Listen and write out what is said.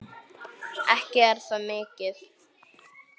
Ekki er það mikið!